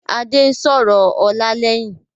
Adé ń sọ̀rọ̀ ọlá lẹ́yìn